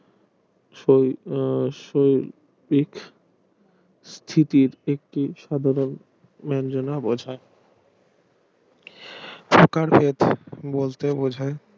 সেই আহ সেই দিক এদের একটি সাধারণ মার্জনা বসায় বলতে বোঝায়